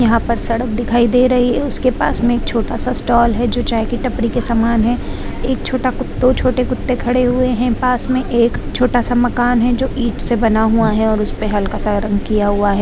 यहाँ पर सड़क दिखाई दे रही है उसके पास में एक छोटा सा स्टाल है जो चाय के टपरी के समान है एक छोटा कुत्तों छोटा कुत्ता खड़े हुए है पास में एक छोटा का मकान है जो ईंट से बना हुआ है और उसपे हल्का से कलर किया हुआ है।